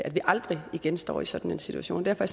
vi aldrig igen står i sådan en situation derfor